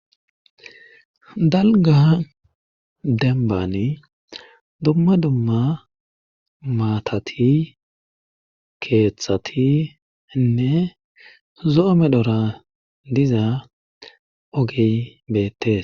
Dalga dembbani dumma dumma maatati keeththatinne zo7o medhora diza ogey beettes.